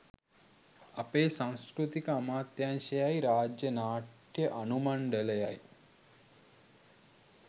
අපේ සංස්කෘතික අමාත්‍යාංශයයි රාජ්‍ය නාට්‍ය අනු මණ්ඩලයයි